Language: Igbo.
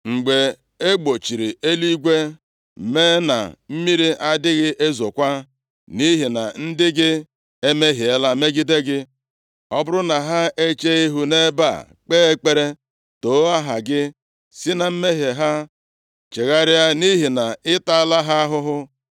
“Mgbe e gbochiri eluigwe, mee na mmiri adịghị ezokwa, nʼihi na ndị gị emehiela megide gị, ọ bụrụ na ha echee ihu nʼebe a kpee ekpere, too aha gị, si na mmehie ha chegharịa, nʼihi na ịtaala ha ahụhụ,